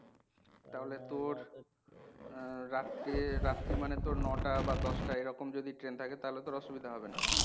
তাহলে তোর আহ রাত্রে রাত্রি মানে তোর ন টা বা দশটা এরকম যদি ট্রেন থাকে তাহলে তোর অসুবিধা হবে না।